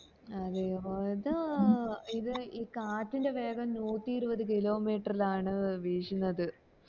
അതെ അത് ഇത് ഈ കാറ്റിന്റെ വേഗം നൂറ്റി ഇരുവതു kilo meter ലാണ് വീശുന്നത്